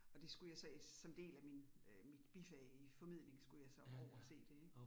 Og det skulle jeg så som del af min øh mit bifag i formidling, skulle jeg så over se det ik